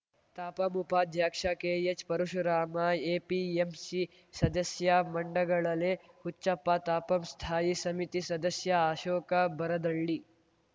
ತಾಪಂ ಉಪಾಧ್ಯಕ್ಷ K H Parashurama APMC ಸದಸ್ಯ ಮಂಡಗಳಲೆ ಹುಚ್ಚಪ್ಪ ತಾಪಂ ಸ್ಥಾಯಿ ಸಮಿತಿ ಸದಸ್ಯಅಶೋಕ ಬರದಳ್ಳಿ